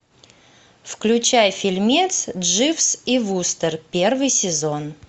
включай фильмец дживс и вустер первый сезон